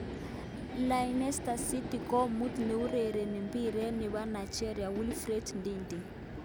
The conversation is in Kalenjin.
Leicester city komut neurereni piret nepo Nigeria Wilfred Ndidi.